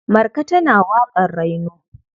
Marka tana waƙar raino.